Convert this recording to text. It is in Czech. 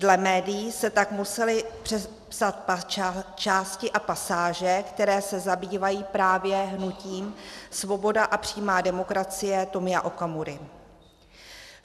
Dle médií se tak musely přepsat části a pasáže, které se zabývají právě hnutím Svoboda a přímá demokracie Tomia Okamury.